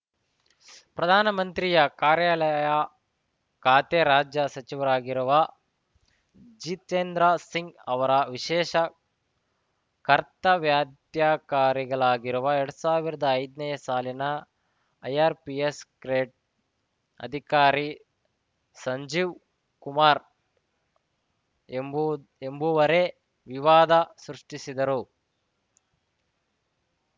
ಪ್ರಧಾನಮಂತ್ರಿಯ ಕಾರ್ಯಾಲಯ ಖಾತೆ ರಾಜ್ಯ ಸಚಿವರಾಗಿರುವ ಜಿತೇಂದ್ರ ಸಿಂಗ್‌ ಅವರ ವಿಶೇಷ ಕರ್ತವ್ಯಾದ್ಯಕಾರಿಗಳಾಗಿರುವ ಎರಡ್ ಸಾವಿರ್ದಾ ಐದನೇ ಸಾಲಿನ ಐಆರ್‌ಪಿಎಸ್‌ ಕ್ರೇಟ್ ಅಧಿಕಾರಿ ಸಂಜೀವ್‌ ಕುಮಾರ್‌ ಎಂಬು ಎಂಬುವರೇ ವಿವಾದ ಸೃಷ್ಟಿಸಿದರು